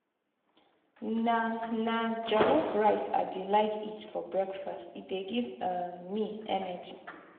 na na jollof rice i dey like eat for breakfast e dey give um me energy.